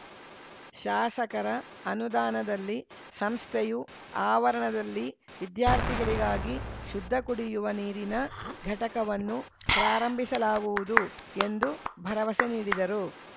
ಶಾಸಕರ ಅನುದಾನದಲ್ಲಿ ಸಂಸ್ಥೆಯು ಆವರಣದಲ್ಲಿ ವಿದ್ಯಾರ್ಥಿಗಳಿಗಾಗಿ ಶುದ್ಧಕುಡಿಯುವ ನೀರಿನ ಘಟಕವನ್ನು ಪ್ರಾರಂಭಿಸಲಾಗುವುದು ಎಂದು ಭರವಸೆ ನೀಡಿದರು